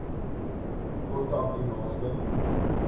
kontak u naaste